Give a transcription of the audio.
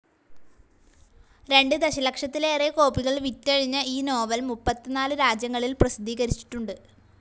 രണ്ട് ദശലക്ഷത്തിലേറെ കോപ്പികൾ വിറ്റഴിഞ്ഞ ഈ നോവൽ മുപ്പത്തിനാലു രാജ്യങ്ങളിൽ പ്രസിദ്ധീകരിച്ചിട്ടുണ്ട്.